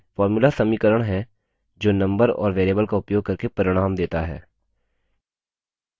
formulas समीकरण हैं जो नम्बर और variables का उपयोग करके परिणाम देता है